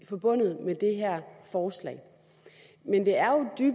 forbundet med det her forslag men